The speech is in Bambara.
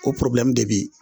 O porobilɛmu de